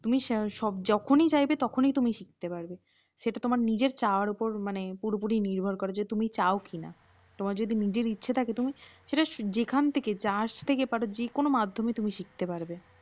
তুমি যখনই চাইবে তখনই তুমি শিখতে পারবে। সেটা তোমার নিজের চাওয়ার উপর মানে পুরোপুরি নির্ভর করে যে তুমি চাও কিনা। তোমার যদি নিজের ইচ্ছে থাকে সেটা যেখান থেকে যার থেকে পারো যে কোনও মাধ্যম থেকে তুমি শিখতে পারবে।